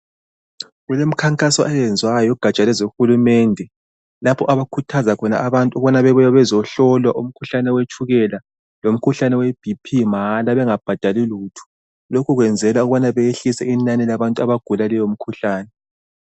Kuleminkhankaso eyenziwayo ngegaja lehulumende. Lapho abakhuthaza khona abantu ukubana bebuye bezohlolwa umkhuhlane wetshukela lemikhuhlane we'BP: mahala bengabhadhali lutho. Lokho bakwenzela ukwehlisa inani labantu abagula leyo mikhuhlane.